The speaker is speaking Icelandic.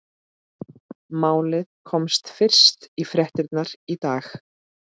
Málið komst fyrst í fréttirnar í dag.